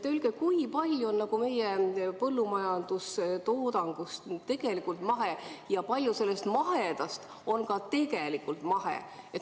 Öelge, kui palju meie põllumajandustoodangust on mahe ja kui palju sellest mahedast on ka tegelikult mahe.